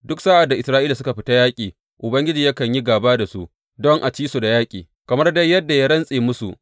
Duk sa’ad da Isra’ila suka fita yaƙi, Ubangiji yakan yi gāba da su don a ci su a yaƙi, kamar dai yadda ya rantse musu.